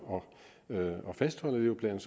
at fastholde dem